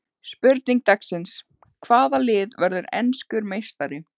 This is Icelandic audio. Spurning dagsins: Hvaða lið verður enskur meistari?